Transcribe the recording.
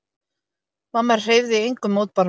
Mamma hreyfði engum mótbárum.